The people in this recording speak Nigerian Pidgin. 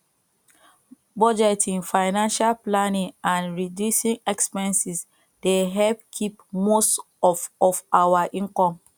budgeting financial planning and reducing expenses dey help keep most of of our income